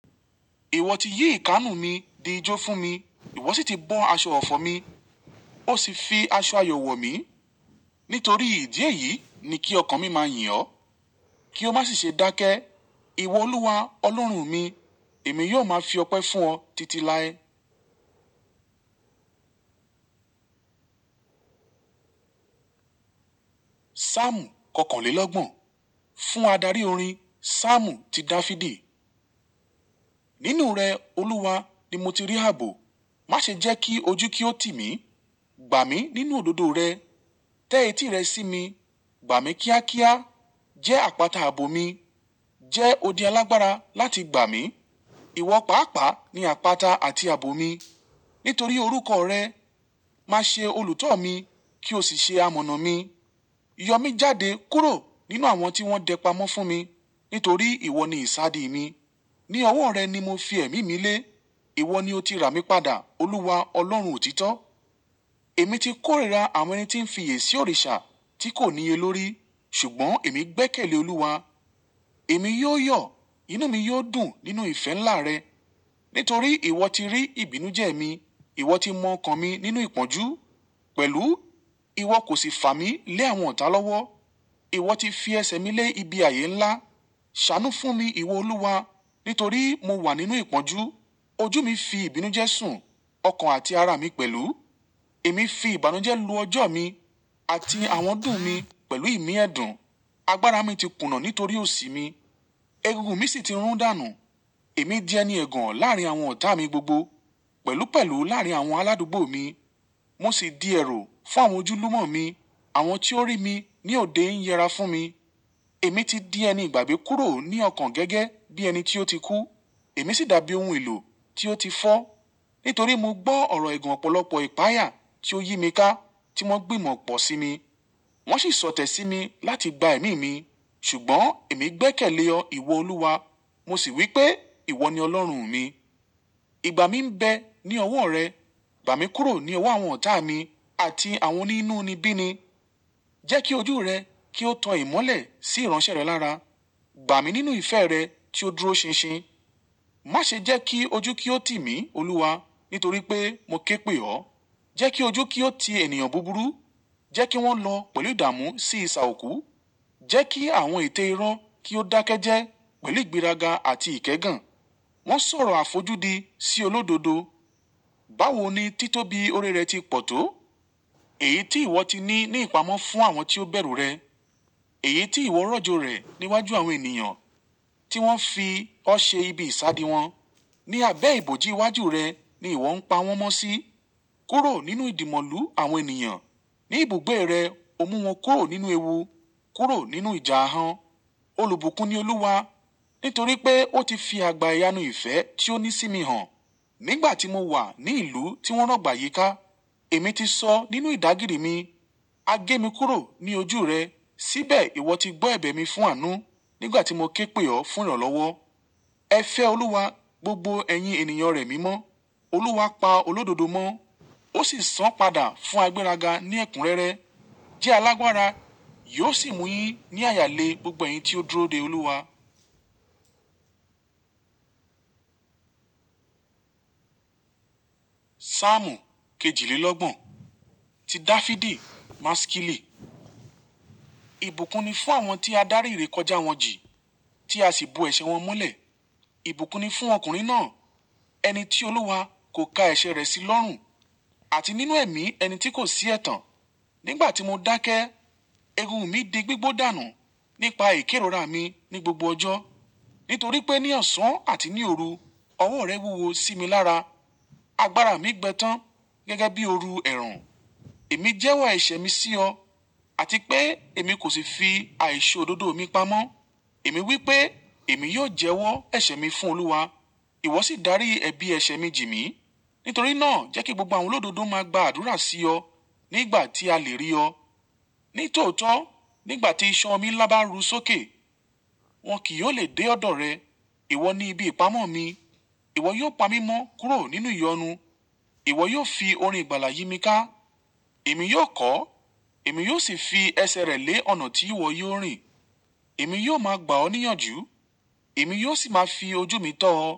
Ìwọ ti yí ìkanú mi di ijó fún mi. Ìwọ sì ti bọ́ aṣọ ọ̀fọ̀ mi, ó sì fi aṣọ àyọ̀ wọ̀ mí. Nítorí ìdí èyí ni kí ọkàn mi máa yìn ọ, kí ó má sì ṣe dákẹ́. Ìwọ Olúwa Ọlọ́run mi, èmi yóò máa fi ọpẹ́ fún ọ títí láé. Súámù kọkànlélọ́gbọ̀n. Fún adarí orin. Saámù ti Dafidi. Nínú rẹ Olúwa ni mo ti rí ààbò. Má ṣe jẹ́ kí ojú kí ó tì mí. Gba mi nínú òdodo rẹ, tẹ́ etí rẹ sí mi, gba mi kíákíá. Jẹ́ àpáta ààbò mi, jẹ́ odi alágbára láti gba mi. Ìwọ pàápàá ni àpáta àti ààbò mi. Nítorí orúkọ rẹ, màá ṣe olùtọ̀ mi kí o sì ṣe amọ̀nà mi. Yọ mí jáde kúrò nínú àwọn tí wọ́n dẹ pamọ́ fún mi nítorí ìwọ ni ìsádi mi. Ni ọwọ́ rẹ ni mo fi ẹ̀mí mi lé. Ìwọ ni ó ti rà mí padà, Olúwa Ọlọ́run òtítọ́. Èmi ti kórìíra àwọn ẹni tí ń fi èsì òrìṣà tí kò níye lórí, ṣùgbọ́n èmi gbẹ́kẹ̀lé Olúwa. Èmi yóò yọ̀, inú mi yóò dùn nínú ìfẹ́ ńlá rẹ. Nítorí ìwọ ti rí ìbínú jẹ́ mi, ìwọ ti mọ ọkàn mi nínú ìpọ́njú pẹ̀lú. Ìwọ kò sì fà mí lé àwọn ọ̀tá lọ́wọ́. Ìwọ ti fi ẹsẹ̀ mi lé ibi ààyè ńlá. Sànú fún mi, ìwọ Olúwa, nítorí mo wà nínú ìpọ́njú. Ojú mi fi ìbínú jẹ́ sùn, ọkàn àti ara mi pẹ̀lú. Èmi fi ìbànújẹ́ lu ọjọ́ mi àti àwọn dùn mi pẹ̀lú ìmíẹ̀dùn. Agbára mi ti kùnà nítorí òsì mi, egungun mi sì ti rún dànù. Èmi di ẹni ẹ̀gàn láàrín àwọn ọ̀tá mi gbogbo, pẹ̀lúpẹ̀lú láàrín àwọn aládùúgbò mi. Mo sì di ẹrú fún àwọn ojúlùmọ̀ mi, àwọn tí ó rí mi ní òde ń yẹra fún mi. Èmi ti di ẹni ìgbàgbé kúrò ní ọkàn gẹ́gẹ́ bí ẹni tí ó ti kú, èmi sì dàbí ohun èlò tí ó ti fọ́. Nítorí mo gbọ́ ọ̀rọ̀ ẹ̀gàn ọ̀pọ̀lọpọ̀ ìpayà tí ó yí mi ká tí wọ́n gbìmọ̀ pọ̀ sí mi. Wọ́n sì sọ̀tẹ̀ sí mi láti gba ẹ̀mí mi, ṣùgbọ́n èmi gbẹ́kẹ̀lé ọ, ìwọ Olúwa, mo sì wí pé ìwọ ni Ọlọ́run mi. Gba mi ń bẹ ní ọwọ́ rẹ, gba mi kúrò ní ọwọ́ àwọn ọ̀tá mi àti àwọn oní inú nibí ni. Jẹ́ kí ojú rẹ kí ó tan ìmọ́lẹ̀ sí ìránṣẹ́ rẹ lára. Gba mi nínú ìfẹ́ rẹ tí ó dúró ṣinṣin. Má ṣe jẹ́ kí ojú kí ó tì mí, Olúwa, nítorí pé mo ké pè ọ. Jẹ́ kí ojú kí ó ti ènìyàn búburú, jẹ́ kí wọ́n lọ pẹ̀lú ìdàmú sí ìsà òkú. Jẹ́ kí àwọn ète iro kí ó dákẹ́ jẹ́ pẹ̀lú ìgbéraga àti ìkẹ́gàn. Wọ́n ń sọ̀rọ̀ àfojúdi sí olódodo. Báwo ni títóbi ore rẹ ti pọ̀ tó? Èyí tí ìwọ ti ní ní ìpamọ́ fún àwọn tí ó bẹ̀rù rẹ. Èyí tí ìwọ rọ̀jò rẹ̀ níwájú àwọn ènìyàn tí wọ́n fi ọ ṣe ibi ìsádi wọn. Ni abẹ́ ìbòjí iwájú rẹ ni ìwọ ń pa wọ́n mọ́ sí. Kúrò nínú ìdìmọ̀lú àwọn ènìyàn. Ni ibùgbé rẹ, o mú wọn kúrò nínú ewu, kúrò nínú ìjà han. Olùbùkún ni Olúwa, nítorí pé ó ti fi àgbá iyanu ìfẹ́ tí ó ní sí mi hàn. Nígbà tí mo wà ní ìlú tí wọ́n rọ̀gbà yíká, èmi ti sọ nínú ìdágìrí mi, "A gé mi kúrò ní ojú rẹ." Síbẹ̀ ìwọ ti gbọ́ ẹ̀bẹ̀ mi fún àánú nígbà tí mo ké pè ọ fún ìrànlọ́wọ́. Ẹ fẹ́ Olúwa, gbogbo ẹ̀yin ènìyàn rẹ̀ mímọ́. Olúwa pa olódodo mọ́, ó sì san padà fún agbẹ́ràga ní ẹ̀kúnrẹ́rẹ́. Jẹ́ alágbára, yóò sì mú yín ní àyà le gbogbo ẹ̀yin tí ó dúró de Olúwa. Saámù kejìlélọ́gbọ̀n. Ti Dafidi. Maskili. Ìbùkún ni fún àwọn tí a darí ìrékọjá wọn jì, tí a sì bo ẹ̀ṣẹ̀ wọn molẹ̀. Ìbùkún ni fún ọkùnrin náà, ẹni tí Olúwa kò ka ẹṣẹ̀ rẹ̀ sí lọ́rùn, àti nínú ẹ̀mí ẹni tí kò sí ẹ̀tàn. Nígbà tí mo dákẹ́, egungun mi di gbígbó dànù nípa ìkérora mi ní gbogbo ọjọ́. Nítorí pé ní ọ̀sán àti ní òru ọwọ́ rẹ wúwo sí mi lára. Agbára mi gbẹ tán gẹ́gẹ́ bí òru ẹ̀rùn. Èmi jẹ́wọ́ ẹ̀ṣẹ̀ mi sí ọ, àti pé èmi kò sì fi àìṣòdodo mi pamọ́. Èmi wí pé, "Èmi yóò jẹ́wọ́ ẹ̀ṣẹ̀ mi fún Olúwa." Ìwọ sì darí ẹbí ẹ̀ṣẹ̀ mi jì mí. Nítorí náà jẹ́ kí gbogbo àwọn olódodo máa gba àdúrà sí ọ nígbà tí a lè rí ọ. Ní tòótọ́, nígbà tí iṣan ọmí nla bà rú sókè, wọn kì yóò lè dé ọ̀dọ̀ rẹ. Ìwọ ni ibi ìpamọ́ mi. Ìwọ yóò pa mí mọ́ kúrò nínú ìyọnu. Ìwọ yóò fi orin ìgbàlà yí mi ká. Èmi yóò kọ, èmi yóò sì fi ẹsẹ̀ rẹ lé ọ̀nà tí ìwọ yóò rìn. Èmi yóò máa gba ọ ní ìyànjú, èmi yóò sì máa fi ojú mi tọ́ ọ.